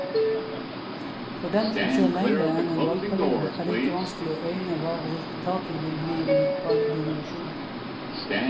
For dem som ser lenger enn en valgperiode, er det ikke vanskelig å øyne hva resultatet vil bli om et par generasjoner.